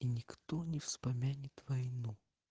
и никто не вспомянет войну